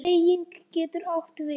Beyging getur átt við